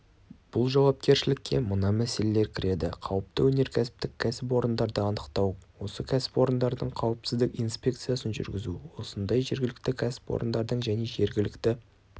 бұл жауапкершілікке мына мәселелер кіреді қауіпті өнеркәсіптік кәсіпорындарды анықтау осы кәсіпорындардың қауіпсіздік инспекциясын жүргізу осындай кәсіпорындардың және жергілікті